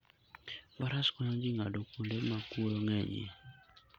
Faras konyo ji ng'ado kuonde ma kuoyo ng'enyie.